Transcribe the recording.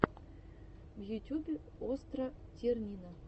в ютюбе остра тирнина